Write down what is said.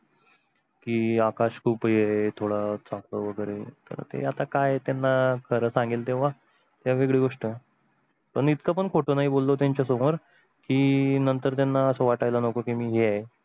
की आकाश खूप हे थोड हे आहे थोडा वेगेरे तर ते आता काय त्यांना खर सांगेल तेव्हा तेव्हा वेगळी गोष्ट पण इतक पण खोट नाही बोललो त्यांच्या समोर की नंतर त्यांना आस वाटेल नको की मी हें आहे